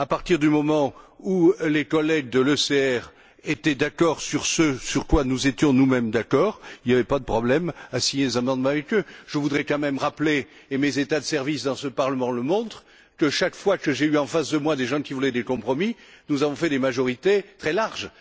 À partir du moment où les collègues de l'ECR étaient d'accord sur ce sur quoi nous étions nous mêmes d'accord, il n'y avait pas de problème à signer des amendements avec eux. Je voudrais quand même rappeler, et mes états de service dans ce Parlement le montrent, que chaque fois que j'ai eu en face de moi des gens qui voulaient faire des compromis, nous avons obtenu des majorités très larges.